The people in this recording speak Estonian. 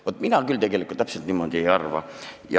Vaat mina küll niimoodi ei arva.